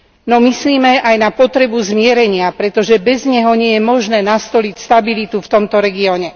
No myslime aj na potrebu zmierenia, pretože bez neho nie je možné nastoliť stabilitu v tomto regióne.